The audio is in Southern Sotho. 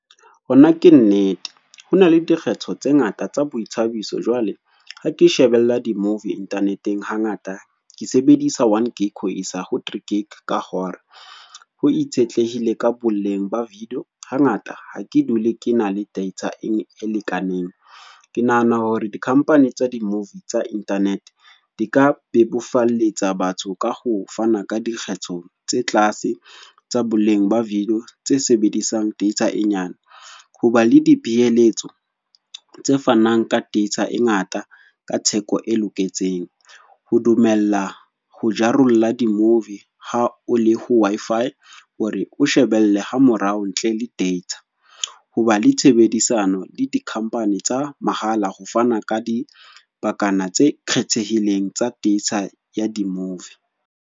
Hona ke nnete. Ho na le dikgetho tse ngata tsa boithabiso. Jwale, ha ke shebella di-movie internet-eng hangata. Ke sebedisa 1GB ho isa ho 3GB ka hore, ho itshetlehile ka boleng ba video. Hangata ha ke dule ke na le data e lekaneng. Ke nahana hore di-company tsa di-movie tsa internet, di ka bebofalletsa batho ka ho fana ka dikgetho tse tlase tsa boleng ba video tse sebedisang data e nyane. Ho ba le dipeeletso tse fanang ka data e ngata ka theko e loketseng. Ho dumella ho jarolla di-movie ha o le ho Wi-Fi. Hore o shebelle ha morao ntle le data. Hoba le tshebedisano le di-company tsa mahala ho fana ka dibakana tse kgethehileng tsa data ya di-movie.